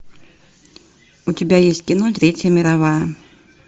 у тебя есть кино третья мировая